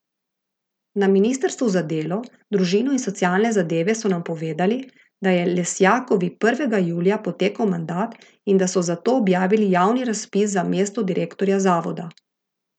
Na ministrstvu za delo, družino in socialne zadeve so nam povedali, da je Lesjakovi prvega julija potekel mandat in da so zato objavili javni razpis za mesto direktorja zavoda.